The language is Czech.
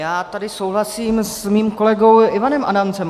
Já tady souhlasím se svým kolegou Ivanem Adamcem.